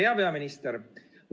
Hea peaminister!